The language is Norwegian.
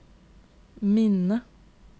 minne